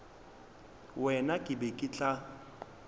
wena ke be ke tla